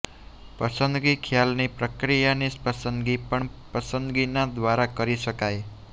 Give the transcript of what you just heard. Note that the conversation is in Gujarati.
પસંદગી ખ્યાલની પ્રક્રિયાની પસંદગી પણ પસંદગીના દ્વારા કરી શકાય છે